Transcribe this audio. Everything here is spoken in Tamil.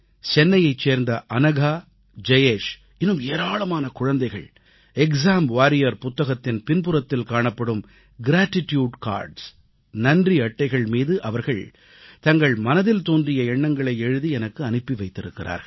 சென்னையைச் சேர்ந்த அனகா ஜயேஷ் இன்னும் ஏராளமான குழந்தைகள் எக்சாம் வாரியர் எக்ஸாம் வாரியர் என்ற எனது புத்தகத்தின் பின்புறத்தில் காணப்படும் நன்றி அட்டைகள் கிராட்டிட்யூட் கார்ட்ஸ் மீது அவர்கள் தங்கள் மனதில் தோன்றிய எண்ணங்களை எழுதி எனக்கு அனுப்பி வைத்திருக்கிறார்கள்